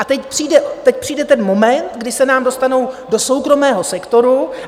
A teď přijde ten moment, kdy se nám dostanou do soukromého sektoru.